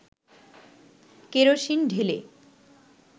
kerosene ঢেলে